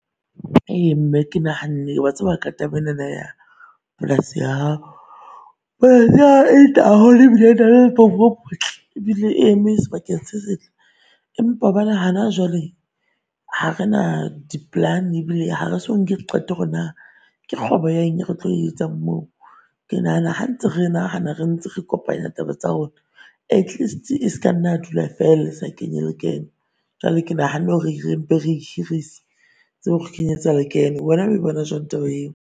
Ee mme ke nahanne o a tseba ka taba enana ya polasi ya hao ebile e eme sebakeng se setle Empa bona hana jwale ha re na di plan-e ebile ha re so nke di qeto hore naa ke kgwebo ya eng re tlo e etsang moo. Ke nahana ha ntse re nahana re ntse re kopanya taba tsa rona at least-e e ska nna dula feela e sa kenye le kenyo. Jwale ke nahane hore re mpe re e hirise e tsebe hore kenyeletsa lekeno. Wena o e bona jwang taba eo?